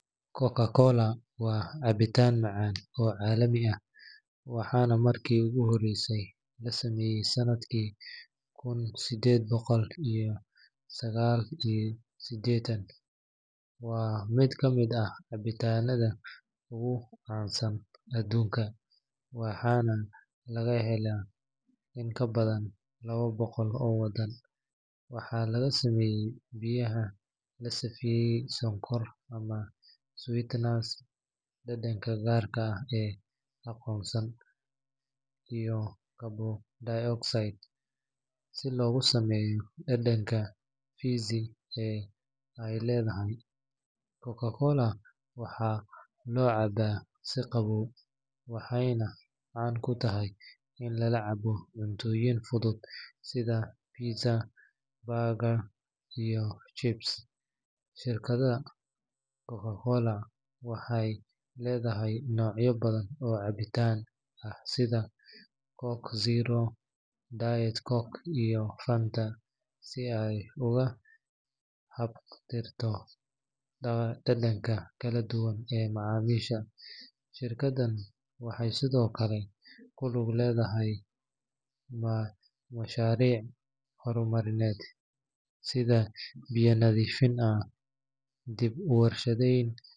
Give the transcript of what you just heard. CocaCola waa cabitaan macaan oo caalami ah, waxaana markii ugu horreysay la sameeyay sanadkii kun sideed boqol iyo sagaal iyo siddeetan. Waa mid ka mid ah cabitaannada ugu caansan adduunka, waxaana laga helaa in ka badan labo boqol oo wadan. Waxaa laga sameeyaa biyaha la sifaystay, sonkor ama sweeteners, dhadhanka gaarka ah ee qarsoon, iyo carbon dioxide si loogu sameeyo dhadhanka fizzy ee ay leedahay. CocaCola waxaa loo cabbaa si qabow, waxayna caan ku tahay in lala cabo cuntooyinka fudud sida pizza, burgers, iyo chips. Shirkadda CocaCola waxay leedahay noocyo badan oo cabitaan ah sida Coke Zero, Diet Coke, iyo Fanta, si ay uga haqabtirto dhadhanka kala duwan ee macaamiisha. Shirkaddan waxay sidoo kale ku lug leedahay mashaariic horumarineed sida biyaha nadiifka ah, dib u warshadayn.